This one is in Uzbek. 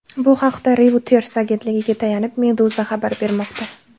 Bu haqda Reuters agentligiga tayanib, Meduza xabar bermoqda .